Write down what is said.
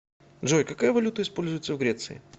джой какая валюта используется в греции